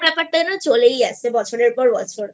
ব্যাপার টা চলেই আসে বছরের পর বছর